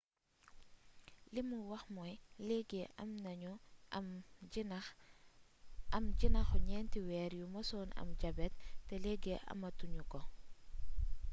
"limu wax mooy leegi am nañu am jinaxu 4 weer yu musoon am jabet te leegi ama tuñu ko.